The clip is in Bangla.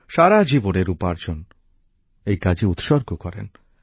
সারা জীবনের উপার্জন এই কাজে উৎসর্গ করেন